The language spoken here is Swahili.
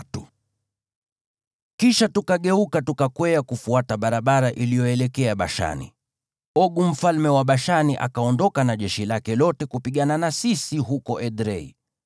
Kisha tukageuka tukakwea kufuata njia iliyoelekea Bashani, Ogu mfalme wa Bashani akaondoka na jeshi lake lote kupigana na sisi huko Edrei.